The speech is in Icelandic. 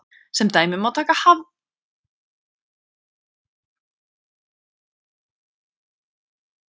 Sem dæmi má taka hagvöxt, það er vöxt vergrar landsframleiðslu Íslands.